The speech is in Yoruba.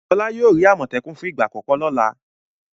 Fọlá yóò rí àmọ̀tẹ́kùn fún ìgbà àkọ́kọ́ lọ́la.